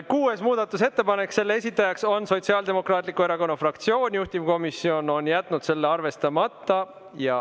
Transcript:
Kuues muudatusettepanek, selle esitaja on Sotsiaaldemokraatliku Erakonna fraktsioon, juhtivkomisjon on jätnud selle arvestamata.